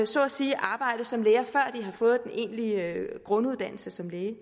så at sige arbejde som læger før de har fået den egentlige grunduddannelse som læge